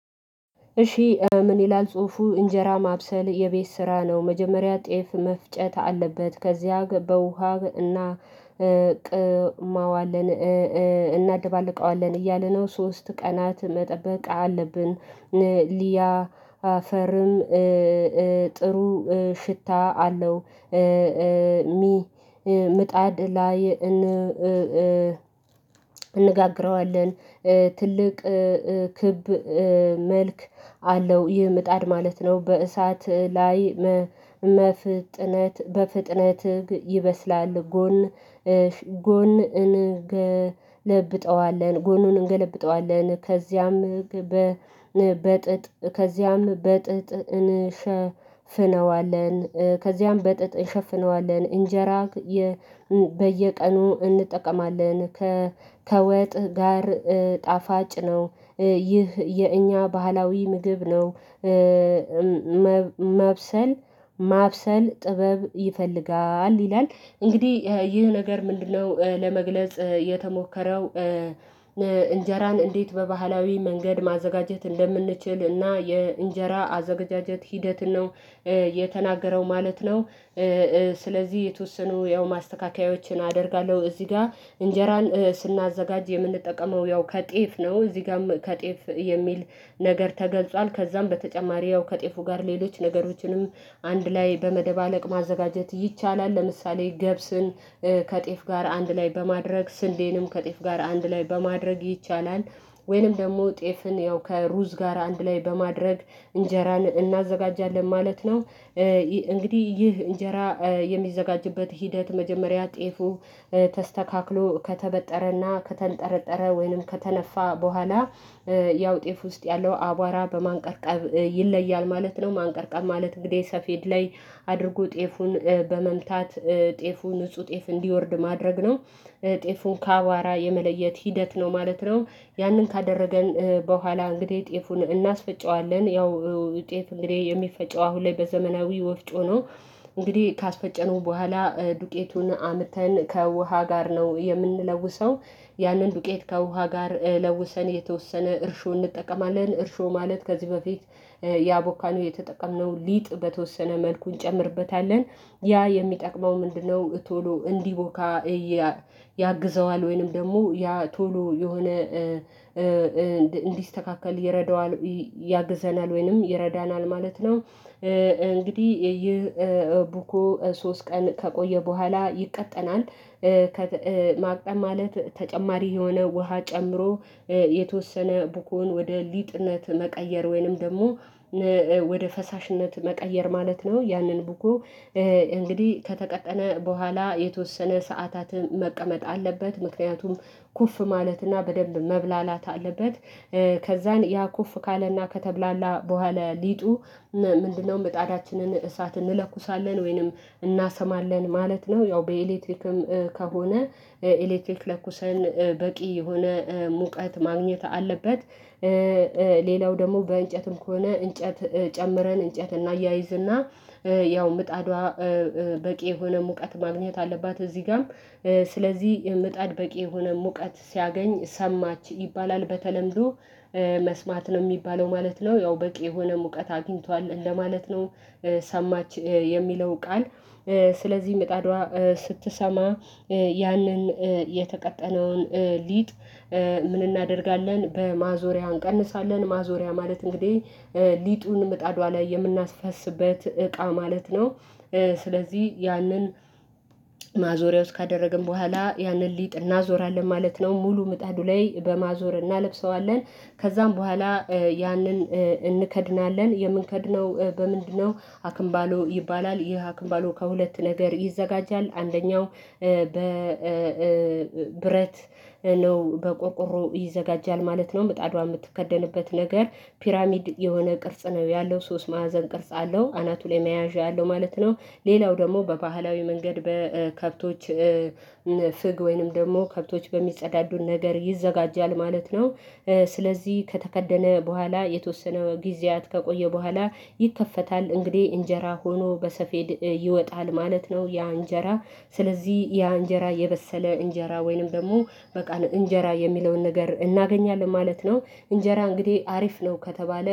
እሺ ምን ይላል ጽሁፉ እንጀራ ማብሰል የቤት ስራ ነው። መጀመሪያ ጤፍ መፍጨት አለበት። ከዚያ በውሃ እና ቅማዋለን እናደባልቀዋለን እያለ ነው። ሶስት ቀናት መጠበቅ አለብን ሊያ አፈርም ጥሩ ሽታ አለው። ምጣድ ላይ እንጋግረዋለን። ትልቅ ክብ መልክ አለው ይህ ምጣድ ማለት ነው በእሳት ላይ መፍጥነት በፍጥነት ይበስላል። ጎን ጎን እንገለብጠዋለን ጎኑን እንገለብጠዋለን። ከዚያም በ በጥጥ ከዚያም በጥጥ እንሸፍነዋለን ከዚያም በጥጥ እንሸፍነዋለን። እንጀራ በየቀኑ እንጠቀማለን ከወጥ ጋር ጣፋጭ ነው ይህ የእኛ ባህላዊ ምግብ ነው። ማብሰል ማብሰል ጥበብ ይፈልጋል ይላል እንግዲህ ይህ ነገር ምንድነው? ለመግለጽ የተሞከረው እንጀራን እንዴት በባህላዊ መንገድ ማዘጋጀት እንደምንችል እና የእንጀራ አዘጋጀት ሂደት ነው የተናገረው ማለት ነው። ስለዚህ የተወሰኑ ያው ማስተካከያዎችን አደርጋለሁ እዚህ ጋር እንጀራን ስናዘጋጅ የምንጠቀመው ያው ከጤፍ ነው። እዚህ ጋርም ከጤፍ የሚል ነገር ተገልጿል ከዛም በተጨማሪ ያው ከጤፉ ጋር ሌሎች ነገሮችንም አንድ ላይ በመደባለቅ ማዘጋጀት ይቻላል። ለምሳሌ ገብስን ከጤፍ ጋር አንድ ላይ በማድረግ ስንዴንም ከጤፍ ጋር አንድ ላይ በማድረግ ይቻላል። ወይንም ደግሞ ጤፍን ያው ከሩዝ ጋር አንድ ላይ በማድረግ እንጀራን እናዘጋጃለን ማለት ነው። እንግዲህ ይህ እንጀራ የሚዘጋጅበት ሂደት መጀመሪያ ጤፉ ተስተካክሎ ከተበጠረና ከተንጠረጠረ ወይንም ከተነፋ በኋላ ያው ጤፍ ውስጥ ያለው አቧራ በማንቀርቀብ ይለያል ማለት ነው። ማንቀርቀብ ማለት እንግዲህ ሰፌድ ላይ አድርጎ ጤፉን በመምታት ጤፉ ንጹህ ጤፍ እንዲወርድ ማድረግ ነው። ጤፉን ካቧራ የመለየት ሂደት ነው ማለት ነው። ያንን ካደረገን በኋላ እንግዲህ ጤፉን እናስፈጨዋለን ያው ጤፍ እንግዲህ የሚፈጨው አሁን ላይ በዘመናዊ ወፍጮ ነው። እንግዲህ ካስፈጨነው በኋላ ዱቄቱን አምተን ከውሃ ጋር ነው የምንለውሰው። ያንን ዱቄት ከውሃ ጋር ለውሰን የተወሰነ እርሾ እንጠቀማለን እርሾ ማለት ከዚህ በፊት ያቦካነው የተጠቀምነው ሊጥ በተወሰነ መልኩ እንጨምርበታለን ያ የሚጠቅመው ምንድነው? ቶሎ እንዲቦካ ያግዘዋል ወይንም ደግሞ ያ ቶሎ የሆነ እንዲስተካከል ይረዳዋል ያግዘናል ወይንም ይረዳናል ማለት ነው። እንግዲህ ይህ ቡኮ ሶስት ቀን ከቆየ በኋላ ይቀጠናል። ማቅጠን ማለት ተጨማሪ የሆነ ውሃ ጨምሮ የተወሰነ ቡኮን ወደ ሊጥነት መቀየር ወይንም ደግሞ ወደ ፈሳሽነት መቀየር ማለት ነው። ያንን ቡኮ እንግዲህ ከተቀጠነ በኋላ የተወሰነ ሰዓታትን መቀመጥ አለበት ምክንያቱም ኩፍ ማለትና በደንብ መብላላት አለበት። ከዛን ያ ኩፍ ካለና ከተብላላ በኋላ ሊጡ ምንድነው? ምጣዳችንን እሳት እንለኩሳለን ወይንም እናሰማለን ማለት ነው ያው በኤሌትሪክም ከሆነ ኤሌትሪክ ለኩሰን በቂ የሆነ ሙቀት ማግኘት አለበት። ሌላው ደግሞ በእንጨትም ከሆነ እንጨት ጨምረን እንጨት እናያይዝና ያው ምጣዷ በቂ የሆነ ሙቀት ማግኘት አለባት። እዚህ ጋም ስለዚህ የምጣድ በቂ የሆነ ሙቀት ሲያገኝ ሰማች ይባላል በተለምዶ መስማት ነው የሚባለው ማለት ነው። ያው በቂ የሆነ ሙቀት አግኝቷል እንደማለት ነው። ሰማች የሚለው ቃል ስለዚህ ምጣዷ ስትሰማ ያንን የተቀጠነውን ሊጥ ምን እናደርጋለን በማዞሪያ እንቀንሳለን ማዞሪያ ማለት እንግዲህ ሊጡን ምጣዷ ላይ የምናስፈስበት እቃ ማለት ነው። ስለዚህ ያንን ማዞርያ ውስጥ ካደረግን በኋላ ያንን ሊጥ እናዞራለን ማለት ነው። ሙሉ ምጣዱ ላይ በማዞር እናለብሰዋለን ከዛም በኋላ ያንን እንከድናለን የምንከድነው በምንድነው? አክምባሎ ይባላል ይህ አክምባሎ ከሁለት ነገር ይዘጋጃል አንደኛው በ ብረት ነው በቆርቆሮ ይዘጋጃል ማለት ነው። ምጣዷ የምትከደንበት ነገር ፒራሚድ የሆነ ነው ያለው ሶስት ማዕዘን ቅርጽ አለው አናቱ ላይ መያዣ ያለው ማለት ነው። ሌላው ደግሞ በባህላዊ መንገድ በከብቶች ፍግ ወይንም ደግሞ ከብቶች በሚጸዳዱ ነገር ይዘጋጃል ማለት ነው። ስለዚህ ከተከደነ በኋላ የተወሰነ ጊዜያት ከቆየ በኋላ ይከፈታል እንግዲህ እንጀራ ሆኖ በሰፌድ ይወጣል ማለት ነው። ያ እንጀራ ስለዚህ ያ እንጀራ የበሰለ እንጀራ ወይንም ደግሞ በቃል እንጀራ የሚለውን ነገር እናገኛለን ማለት ነው። እንጀራ እንግዲህ አሪፍ ነው ከተባለ